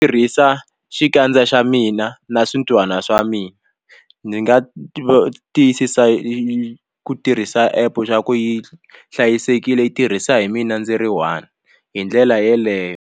Tirhisa xikandza xa mina na swintihwana swa mina ndzi nga tiyisisa ku tirhisa app swa ku yi hlayisekile yi tirhisa hi mina ndzi ri one hi ndlela yeleyo.